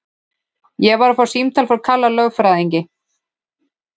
Ég var að fá símtal frá Kalla lögfræðingi.